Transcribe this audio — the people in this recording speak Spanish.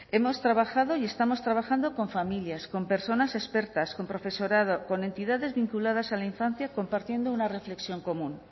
hemos trabajado y estamos trabajando con familias con personas expertas con profesorado con entidades vinculadas a la infancia compartiendo una reflexión común